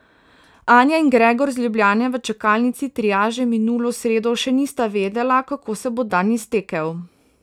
Anja in Gregor iz Ljubljane v čakalnici triaže minulo sredo še nista vedela, kako se bo dan iztekel.